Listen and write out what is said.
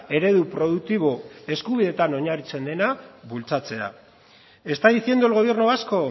eredu produktibo eskubidetan oinarritzen dela bultzatzea está diciendo el gobierno vasco